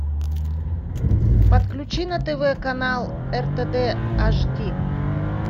подключи на тв канал ртд аш ди